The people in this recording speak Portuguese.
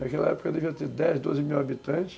Naquela época devia ter dez, doze, mil habitantes.